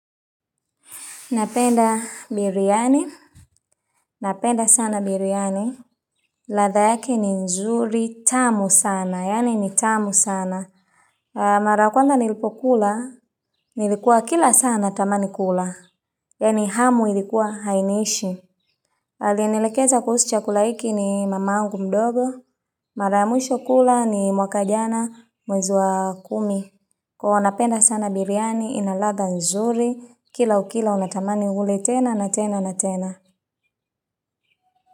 Napenda biriani, napenda sana biriani, ladha yake ni nzuri tamu sana, yaani ni tamu sana. Mara ya kwanza nilipo kula, nilikuwa kila saa natamani kula, yaani hamu ilikuwa hainiishi. Alinilekeza kuhusu chakula hiki ni mamangu mdogo, mara mwisho kula ni mwaka jana mwezi wa kumi. Kwa hiyo napenda sana biriani, inaladha nzuri, kila ukila unatamani ule tena na tena.